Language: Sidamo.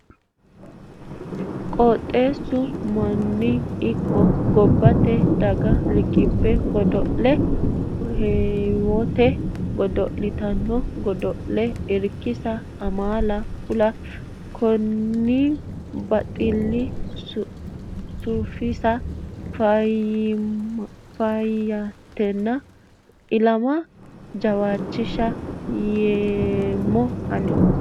Qooxxeesu manna ikko gobbate daga riqibbe godo'le heewonitta godo'littano godollano irkisa amaala ku"u koiwa baxile sufisiisa faayyatenna ilama jawaachisholla yeemmo ani.